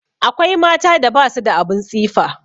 Akwai mata da ba su da abin tsifa.